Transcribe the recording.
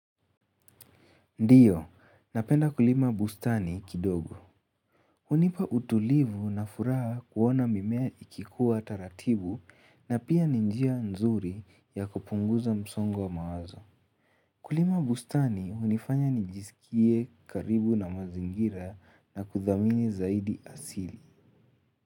Ndio, napenda kulima bustani kidogo. Hunipa utulivu na furaha kuona mimea ikikua taratibu na pia ni njia nzuri ya kupunguza msongo wa mawazo. Kulima bustani hunifanya nijisikie karibu na mazingira na kuthamini zaidi asili.